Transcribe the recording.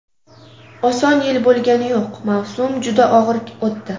Oson yil bo‘lgani yo‘q, mavsum juda og‘ir o‘tdi.